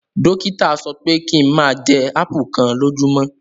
Dokita sọpẹ ki n máa jẹ ápù kan lójúmọ́!